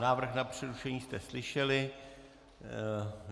Návrh na přerušení jste slyšeli.